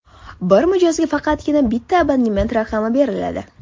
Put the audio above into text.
Bir mijozga faqatgina bitta abonent raqami beriladi.